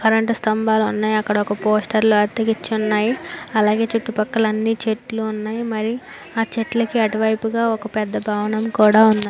current స్తంభాలు ఉన్నాయ్ అక్కడ ఒక పోస్టర్లు అతికించి ఉన్నాయ్ అలాగే చుట్టూ పక్కల అన్ని చెట్లు ఉన్నాయ్ మరి ఆ చెట్లుకి అటువైపుగా ఒక పెద్ద భవనము కూడా ఉన్న --